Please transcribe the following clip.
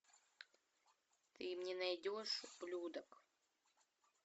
ты мне найдешь ублюдок